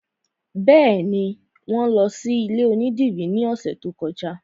Bẹ́ẹ̀ni, wọn lọ sí ilé onídìrí ní ọ̀sẹ̀ tó kọjá